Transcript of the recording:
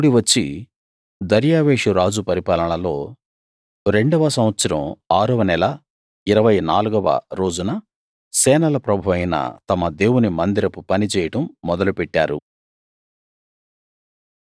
వారు కూడి వచ్చి దర్యావేషు రాజు పరిపాలనలో రెండవ సంవత్సరం ఆరవ నెల ఇరవై నాలుగవ రోజున సేనల ప్రభువైన తమ దేవుని మందిరపు పనిచేయడం మొదలుపెట్టారు